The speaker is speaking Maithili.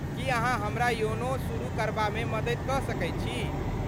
की अहाँ हमरा योनो शुरू करबामे मदति कऽ सकैत छी?